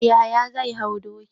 Yahaya zai hau doki.